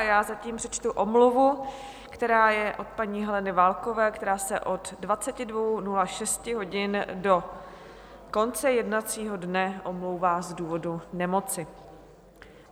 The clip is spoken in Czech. A já zatím přečtu omluvu, která je od paní Heleny Válkové, která se od 22.06 hodin do konce jednacího dne omlouvá z důvodu nemoci.